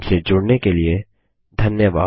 हमसे जुड़ने के लिए धन्यवाद